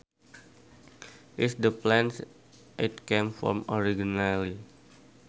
is the place it came from originally